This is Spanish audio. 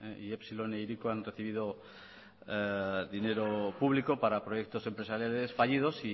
epsilon e hiriko han recibido dinero público para proyectos empresariales fallidos